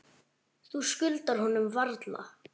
Þú skuldar honum varla.